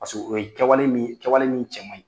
o ye kɛwale min kɛwale min cɛ maɲi.